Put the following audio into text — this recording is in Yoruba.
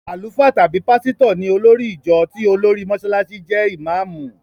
Àlùfáà tàbí pásítọ̀ ní olórì ìjọ tí olórí Mọsálásí jẹ́ ìmáàmù.